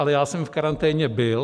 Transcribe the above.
Ale já jsem v karanténě byl.